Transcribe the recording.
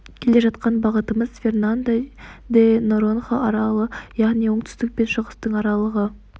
келе жатқан бағытымыз фернандо де норонха аралы яғни оңтүстік пен шығыстың аралығы